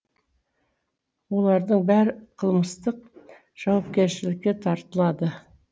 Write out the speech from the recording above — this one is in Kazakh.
олардың бәрі қылмыстық жауапкершілікке тартылады